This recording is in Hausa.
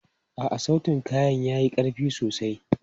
A'a, sautin kayan ya yi ƙarfi sosai.